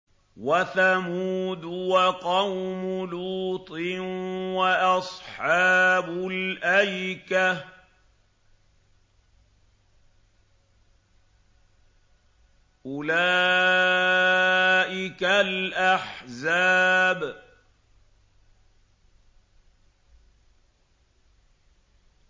وَثَمُودُ وَقَوْمُ لُوطٍ وَأَصْحَابُ الْأَيْكَةِ ۚ أُولَٰئِكَ الْأَحْزَابُ